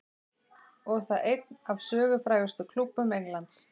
Og það einn af sögufrægustu klúbbum Englands.